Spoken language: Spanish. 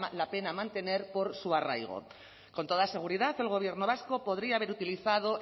la pena mantener por su arraigo con toda seguridad el gobierno vasco podría haber utilizado